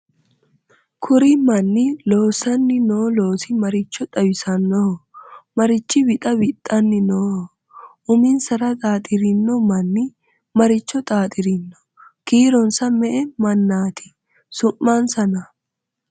kuri manni loosanni noo loosi maricho xawisannoho? marichi wixa wixanni nooho? uminsara xaaxirino manni maricho xaaxirino? kiironsa me"e mannati? su'mansana?